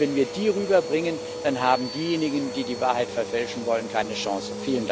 Wenn wir die rüberbringen, dann haben diejenigen, die die Wahrheit verfälschen wollen, keine Chance.